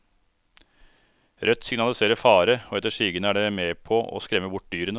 Rødt signaliserer fare og etter sigende er det med på å skremme bort dyrene.